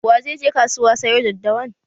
Wa zai je kasuwa sayo daddawan?